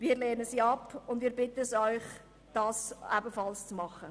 Wir lehnen sie ab und bitten Sie, dasselbe zu tun.